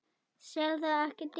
Sel það ekki dýrar.